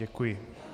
Děkuji.